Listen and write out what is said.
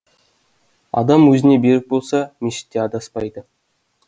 адам өзіне берік болса мешітте адаспайды